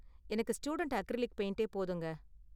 எனக்கு student acrylic பெயிண்டே போதுங்க.